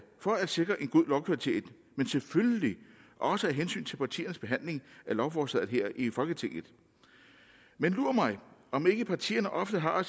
for at sikre en god lovkvalitet men selvfølgelig også af hensyn til partiernes behandling af lovforslaget her i folketinget men lur mig om ikke partierne ofte har